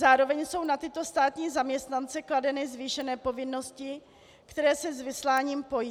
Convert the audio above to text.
Zároveň jsou na tyto státní zaměstnance kladeny zvýšené povinnosti, které se s vysláním pojí.